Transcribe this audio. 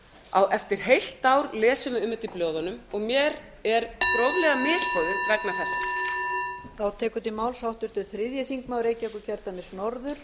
þessu eftir heilt ár lesum við um þetta í blöðunum og mér er gróflega misboðið vegna þess